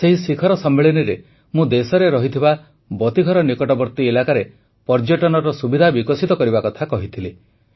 ସେହି ଶିଖର ସମ୍ମିଳନୀରେ ମୁଁ ଦେଶରେ ଥିବା ବତୀଘର ନିକଟବର୍ତ୍ତୀ ଇଲାକାରେ ପର୍ଯ୍ୟଟନ ସୁବିଧା ବିକଶିତ କରିବା କଥା କହିଥିଲି